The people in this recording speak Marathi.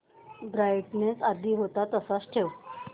ब्राईटनेस आधी होता तसाच ठेव